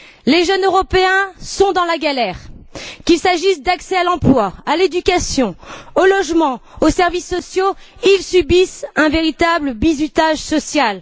Les jeunes Européens sont dans la galère qu'il s'agisse d'accès à l'emploi, à l'éducation, au logement, aux services sociaux, ils subissent un véritable bizutage social.